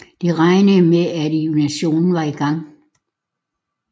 De regnede med at invasionen var i gang